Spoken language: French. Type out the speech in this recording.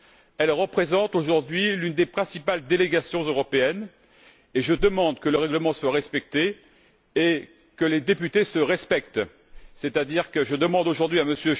Elle représente aujourd'hui l'une des principales délégations européennes et je demande que le règlement soit respecté et que les députés se respectent, c'est à dire que je demande aujourd'hui à M.